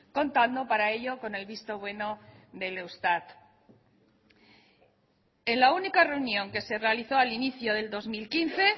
contando para ello con el visto bueno del eustat en la única reunión que se realizó al inicio del dos mil quince